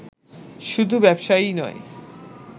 শুধু ব্যবসায়ীই নয়